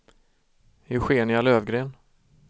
Eugenia Löfgren